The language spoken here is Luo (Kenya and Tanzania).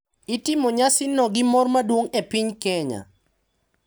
Itimo nyasino gi mor maduong’ e piny Kenya,